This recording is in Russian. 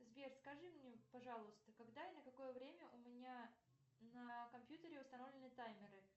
сбер скажи мне пожалуйста когда и на какое время у меня на компьютере установлены таймеры